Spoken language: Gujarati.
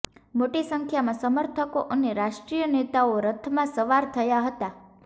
મોટી સંખ્યામાં સમર્થકો અને રાષ્ટ્રીય નેતાઓ રથમાં સવાર થયા હતા